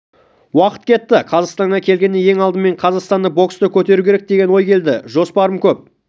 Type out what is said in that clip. уақыт кетті қазақстанға келгенде ең алдымен қазақстандық боксты көтеру керек деген ой келді жоспарым көп